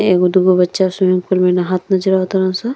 एगो दुगो बच्चा स्विमिंग पूल में नहात नजर आवतारसन।